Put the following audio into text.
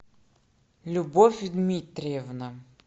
любовь дмитриевна